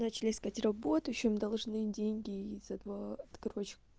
начали искать работу ещё им должны деньги за два короче